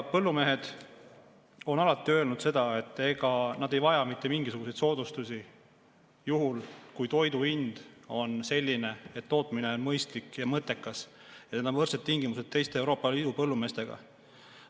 Põllumehed on alati öelnud seda, et nad ei vaja mitte mingisuguseid soodustusi, juhul kui toidu hind on selline, et tootmine on mõistlik ja mõttekas, ja on võrdsed tingimused teiste Euroopa Liidu põllumeestega.